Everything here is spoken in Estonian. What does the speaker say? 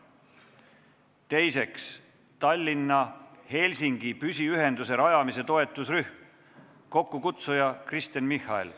Teiseks, Tallinna-Helsingi püsiühenduse rajamise toetusrühm, kokkukutsuja on Kristen Michal.